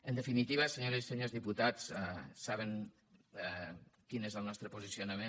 en definitiva senyores i senyors diputats saben quin és el nostre posicionament